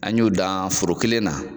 An y'u dan foro kelen na.